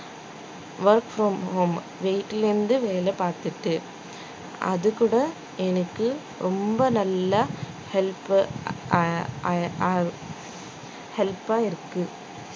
work from home வீட்ல இருந்து வேலை பார்த்துட்டு அது கூட எனக்கு ரொம்ப நல்லா help அ அஹ் help ஆ இருக்கு